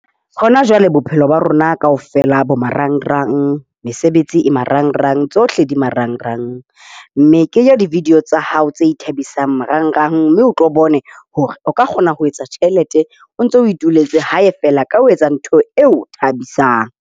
Hona jwale bophelo ba rona kaofela bo marangrang, mesebetsi e marangrang, tsohle di marangrang. Mme kenya di-video tsa hao tse ithabisang marangrang, mme o tlo bone hore o ka kgona ho etsa tjhelete o ntso o ituletse hae fela ka ho etsa ntho eo e o thabisang.